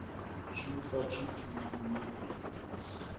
syvogfyrre tusind ni hundrede og otteoghalvfems